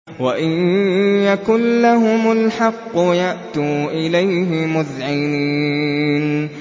وَإِن يَكُن لَّهُمُ الْحَقُّ يَأْتُوا إِلَيْهِ مُذْعِنِينَ